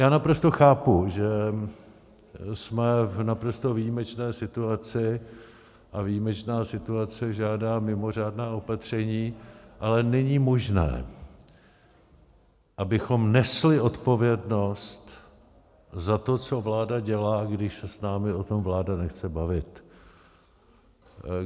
Já naprosto chápu, že jsme v naprosto výjimečné situaci, a výjimečná situace žádá mimořádná opatření, ale není možné, abychom nesli odpovědnost za to, co vláda dělá, když se s námi o tom vláda nechce bavit.